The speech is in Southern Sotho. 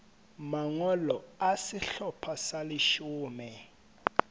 mangolo a sehlopha sa leshome